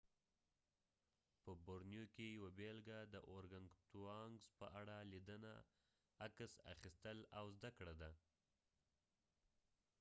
په بورنیو کې یوه بیلګه د اورګنګتوانګز په اړه لیدنه عکس اخیستل او زده کړه ده